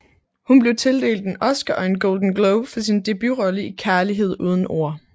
Hun blev tildelt en Oscar og en Golden Globe for sin debutrolle i Kærlighed uden ord